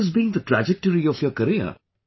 And what has been the trajectory of your career